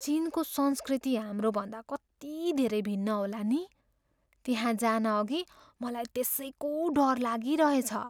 चिनको संस्कृति हाम्रोभन्दा कति धेरै भिन्न होला नि? त्यहाँ जानअघि मलाई त्यसैको डर लागिरहेछ।